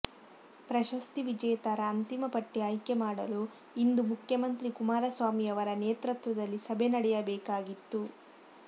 ಪ್ರಶಸ್ತಿ ವಿಜೇತರ ಅಂತಿಮ ಪಟ್ಟಿ ಆಯ್ಕೆ ಮಾಡಲು ಇಂದು ಮುಖ್ಯಮಂತ್ರಿ ಕುಮಾರಸ್ವಾಮಿಯವರ ನೇತೃತ್ವದಲ್ಲಿ ಸಭೆ ನಡೆಯಬೇಕಾಗಿತ್ತು